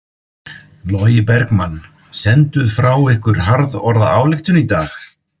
Logi Bergmann: Senduð frá ykkur harðorða ályktun í dag?